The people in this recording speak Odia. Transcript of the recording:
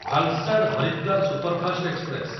Valsad Haridwar superfast express